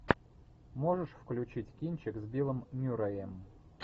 можешь включить кинчик с биллом мюрреем